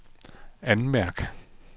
anmærk